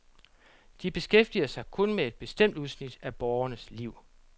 De beskæftiger sig kun med et bestemt udsnit af borgernes liv.